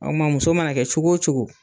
Ɔ kuma muso mana kɛ cogo o cogo